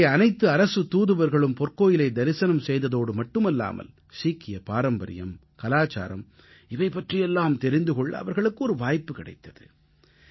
அங்கே அனைத்து அரசுத் தூதுவர்களும் பொற்கோயிலை தரிசனம் செய்ததோடு மட்டுமல்லாமல் சீக்கிய பாரம்பரியம் கலாச்சாரம் இவை பற்றியெல்லாம் தெரிந்து கொள்ள அவர்களுக்கு ஒரு வாய்ப்பு கிடைத்தது